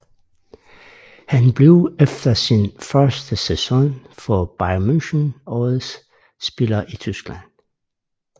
Han blev efter sin første sæson for Bayern München årets spiller i Tyskland